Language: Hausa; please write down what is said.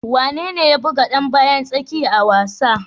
Wane ne ya buga dan bayan tsakiya a wasan?